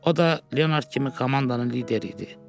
O da Leonard kimi komandanın lideri idi.